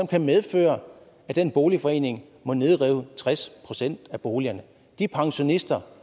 kan medføre at den boligforening må nedrive tres procent af boligerne de pensionister